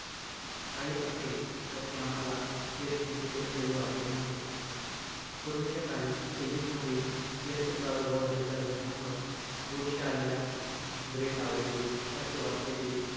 काही असेल असे आम्हाला यत्किंचितही कधी वाटले नव्हते. पूर्वीच्या काळी इजिप्तमध्ये, जंतू प्रादुर्भाव झालेल्या जखमांवर, बुरशी आलेल्या bread लावायचे. असे वाचल्याचे,